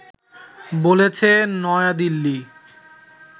বলেছে নয়াদিল্লি